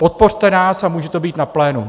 Podpořte nás a může to být na plénu.